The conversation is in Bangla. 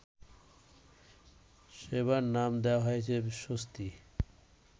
সেবার নাম দেয়া হয়েছে স্বস্তি